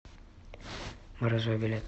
морозово билет